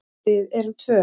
Við erum tvö.